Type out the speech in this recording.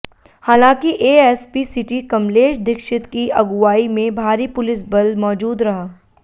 हालांकि ASP city Kamlesh Dikshit की अगुवाई में भारी पुलिसबल मौजूद रहा